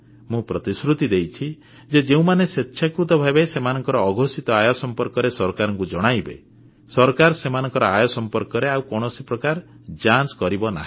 ମୁଁ ପ୍ରତିଶ୍ରୁତି ଦେଇଛି ଯେ ଯେଉଁମାନେ ସ୍ୱେଚ୍ଛାକୃତ ଭାବେ ସେମାନଙ୍କ ଅଘୋଷିତ ଆୟ ସମ୍ପର୍କରେ ସରକାରଙ୍କୁ ଜଣାଇବେ ସରକାର ସେମାନଙ୍କ ଆୟ ସମ୍ପର୍କରେ ଆଉ କୌଣସି ପ୍ରକାର ଯାଞ୍ଚ କରିବ ନାହିଁ